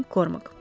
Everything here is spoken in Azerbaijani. Qormik.